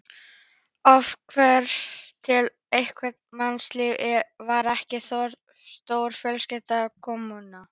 Afturhvarf til einfaldara mannlífs, var ekki þorpið stórfjölskylda, kommúna?